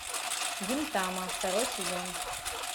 гинтама второй сезон